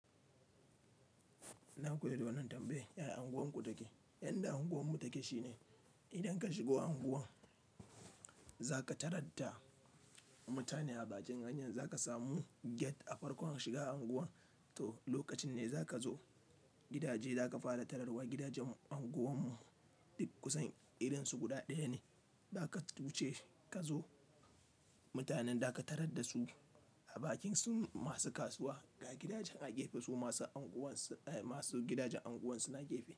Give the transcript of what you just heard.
Na koyi da wannan tambaya yaya unguwarku take. Yanda unguwarmu take shine idan ka shigo unguwar za ka tarar da mutane a bakin hanya, za ka samu gate a farkon shiga unguwar. To, lokacin ne za ka zo gidaje za ka fara tararwa. Gidajen unguwarmu duk kusan irinsu guda ɗaya ne. Za ka wuce ka zo mutanen da ka tarar da su a bakin su masu kasuwa ga gidajen a gefe su masu gidajen unguwar suna gefe.